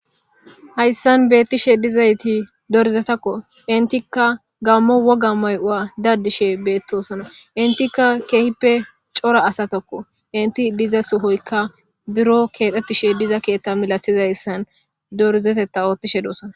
Hayssan bettishe dizaytti dorzzetakko.enttikka gamo woga may'uwa daddishe beetosona.enttika kehippe cora asattako.entti diza Sohoy buro keexxetishe diza mala keeththa mala dorzzetetta oththishe dossonna.